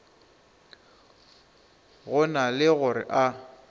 go na le gore a